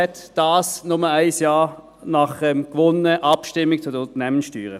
Dies nur ein Jahr nach der gewonnenen Abstimmung zu den Unternehmenssteuern.